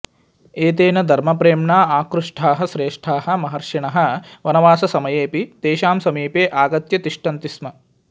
एतेन धर्मप्रेम्णा आकृष्टाः श्रेष्टाः महर्षिणः वनवाससमयेऽपि तेषां समीपे आगत्य तिष्ठन्ति स्म